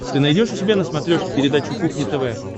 ты найдешь у себя на смотрешке передачу кухня тв